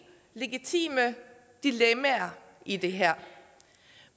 legitime dilemmaer i det her